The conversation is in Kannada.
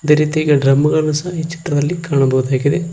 ರೀತಿಯಾಗಿ ಡ್ರಮ್ ಗಳನ್ನು ಸಹ ಈ ಚಿತ್ರದಲ್ಲಿ ಕಾಣಬಹುದಾಗಿದೆ.